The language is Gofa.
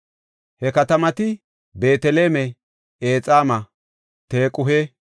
He katamati Beeteleme, Exaama, Tequhe,